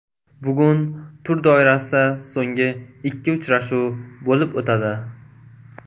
Bugun tur doirasida so‘nggi ikki uchrashuv bo‘lib o‘tadi.